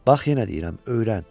Bax yenə deyirəm, öyrən.